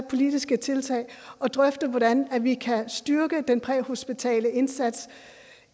politiske tiltag og drøfte hvordan vi kan styrke den præhospitale indsats